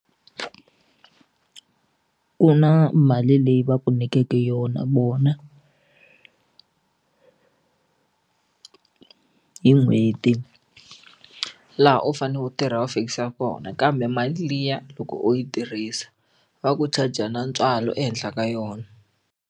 Ku na mali leyi va ku nyikeke yona vona hi n'hweti laha u faneleke u tirha va fikisa kona kambe mali liya loko u yi tirhisa va ku charger na ntswalo ehenhla ka yona.